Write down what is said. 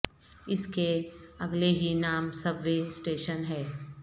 اس کے اگلے ہی نام سب وے سٹیشن ہے